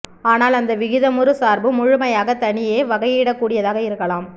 ஆனால் அந்த விகிதமுறு சார்பு முழுமையாகத் தனியே வகையிடக் கூடியதாக இருக்குலாம்